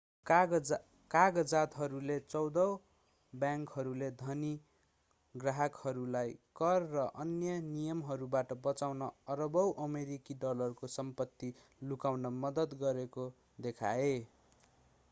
कागजातहरूले चौध बैंकहरूले धनी ग्राहकहरूलाई कर र अन्य नियमहरूबाट बचाउन अरबौँ अमेरिकी डलरको सम्पत्ति लुकाउन मद्दत गरेको देखाए